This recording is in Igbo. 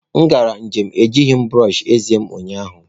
M gara njem na-ejighị brọsh eze m ụnyaahụ.